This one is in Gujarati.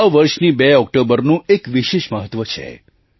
આ વર્ષની 2 ઑક્ટોબરનું એક વિશેષ મહત્ત્વ છે